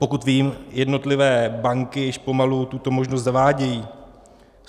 Pokud vím, jednotlivé banky již pomalu tuto možnost zavádějí.